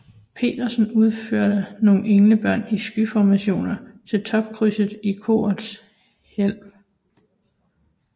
Petersen udføre nogle englebørn i skyformationer til topkrydset i korets hvælv